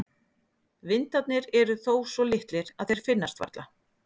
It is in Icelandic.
Vindarnir eru þó svo litlir að þeir finnast varla.